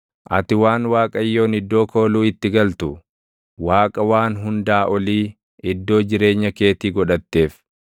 Ati waan Waaqayyoon iddoo kooluu itti galtu, Waaqa Waan Hundaa Olii iddoo jireenya keetii godhatteef,